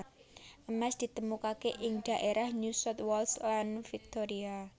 Emas ditemukake ing dhaérah New South Wales lan Victoria